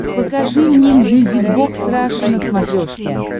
покажи мне мьюзик бокс раша на смотрешке